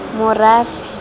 morafe